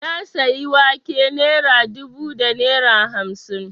Na sayi wake naira dubu da naira hamsin